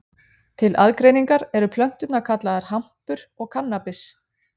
til aðgreiningar eru plönturnar kallaðar hampur og kannabis